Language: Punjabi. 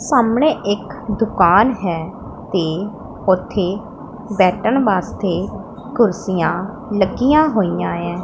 ਸਾਹਮਣੇ ਇੱਕ ਦੁਕਾਨ ਹੈ ਤੇ ਉੱਥੇ ਬੈਠਣ ਵਾਸਤੇ ਕੁਰਸੀਆਂ ਲੱਗੀਆਂ ਹੋਈਆਂ ਐ।